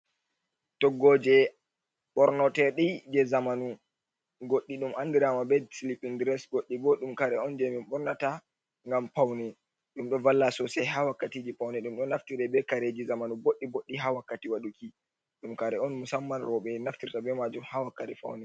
Toggoje bornotedi je zamanu goddi dum andirama be silipin dress, goddi bo dum kare on je min bornata gam pauni dum do valla sosai ha wakkati je pauni dum do naftire be kareji zamanu boddi boddi ha wakkati waduki dum kare on musamman robe naftirta be majum ha wa kati foune.